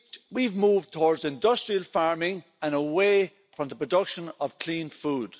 We have moved towards industrial farming and away from the production of clean food.